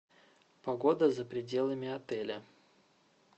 погода за пределами отеля